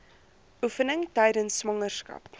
oefeninge tydens swangerskap